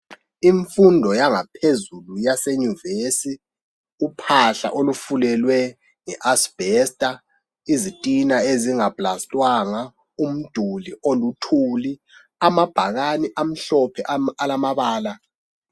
Imfundo yangaphezulu yasenyuvesi uphahla olufulelwe nge asbestor izitina ezinga plastwanga umduli oluthuli amabhakane amhlophe alamabala.